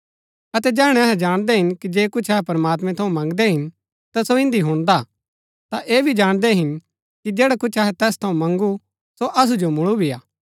अतै जैहणै अहै जाणदै कि जे कुछ अहै प्रमात्मैं थऊँ मन्गदै हिन ता सो इन्दी हुणदा ता ऐह भी जाणदै हिन कि जैडा कुछ अहै तैस थऊँ मन्गु सो असु जो मुळु भी हा